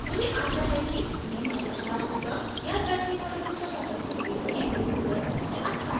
मुझे आशा है कि यह मददगार hope याद रखें modules पता करने के लिए google सबसे अच्छा है